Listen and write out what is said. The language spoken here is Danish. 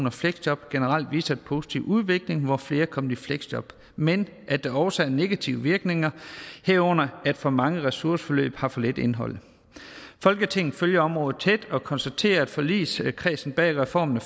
og fleksjob generelt viser en positiv udvikling hvor flere er kommet i fleksjob men at der også er negative virkninger herunder at for mange ressourceforløb har for lidt indhold folketinget følger området tæt og konstaterer at forligskredsen bag reformen af